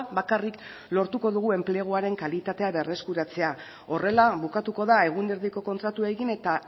bakarrik lortuko dugu enpleguaren kalitatea berreskuratzea horrela bukatuko da egun erdiko kontratuekin eta